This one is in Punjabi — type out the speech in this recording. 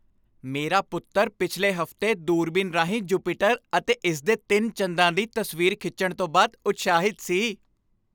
ਮੇਰਾ ਪੁੱਤਰ ਪਿਛਲੇ ਹਫ਼ਤੇ ਦੂਰਬੀਨ ਰਾਹੀਂ ਜੁਪੀਟਰ ਅਤੇ ਇਸ ਦੇ ਤਿੰਨ ਚੰਦਾਂ ਦੀ ਤਸਵੀਰ ਖਿੱਚਣ ਤੋਂ ਬਾਅਦ ਉਤਸ਼ਾਹਿਤ ਸੀ।